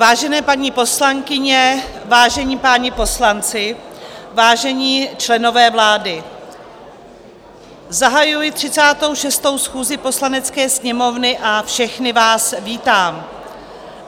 Vážené paní poslankyně, vážení páni poslanci, vážení členové vlády, zahajuji 36. schůzi Poslanecké sněmovny a všechny vás vítám.